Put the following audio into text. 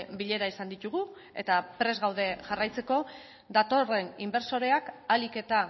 bilera izan ditugu eta prest gaude jarraitzeko datorren inbertsorea ahalik eta